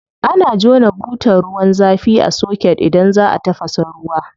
Ana jona butar ruwan zafi a soket idan za a tafasa ruwa.